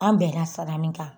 An bɛnna sara min kan